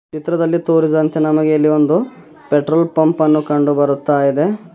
ಚಿತ್ರದಲ್ಲಿ ತೋರಿಸಿದಂತೆ ನಮಗೆ ಇಲ್ಲಿ ಒಂದು ಪೆಟ್ರೋಲ್ ಪಂಪ್ ಅನ್ನು ಕಂಡುಬರುತ್ತಾಯಿದೆ.